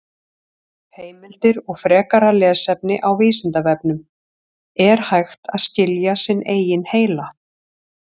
Heimildir og frekara lesefni á Vísindavefnum: Er hægt að skilja sinn eigin heila?